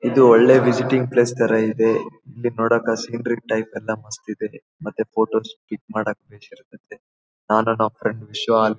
ಇದು ಒಳ್ಳೆ visiting place ತರ ಇದೆ ಇಲ್ಲಿ ನೋಡಕ್ಕ ಸೀನರಿ ಟೈಪ್ ಎಲ್ಲ ಮಸ್ತ್ ಇದೆ ಮತ್ತೆ ಫೋಟೋಸ್ ಕ್ಲಿಕ್ ಮಾಡಕ್ಕ ಬೇಸ್ ಇರ್ತಾತ್ತೆ ನಾನು ನನ್ ಫ್ರೆಂಡ್ ವಿಶ್ವ ಆ--